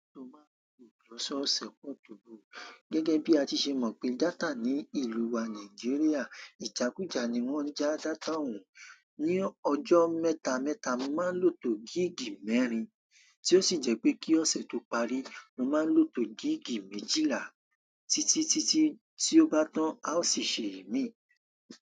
Gẹ́gẹ́ bí a ti ṣe mọ̀ pé data ní ìlú wa Nàìjíríà, ìjàkùjà ni wón ń já data òun. Ni ọjọ́ mẹ́ta mẹ́ta, mo máa ń lò to gig mẹ́rin, tí ó sì jẹ́ pé kí ọ̀sẹ̀ tó parí, mo máa ń lò to gig méjìlá títí, títí tí ó bá tán, a ó sì ṣe imí.